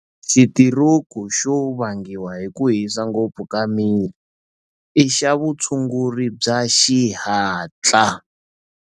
Xitiroku xo vangiwa hi ku hisa ngopfu ka miri i xa vutshunguri bya xihatla.